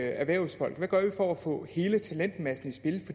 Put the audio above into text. erhvervsfolk hvad gør vi for at få hele talentmassen